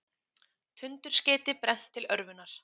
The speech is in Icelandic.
Tundurskeyti brennt til örvunar